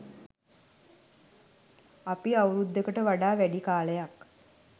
අපි අවුරුද්දකට වඩා වැඩි කාලයක්